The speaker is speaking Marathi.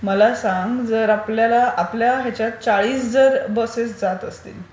मला संग जर आपल्याला आपल्या हयाच्यात चाळीस जर बसेस जात असतील...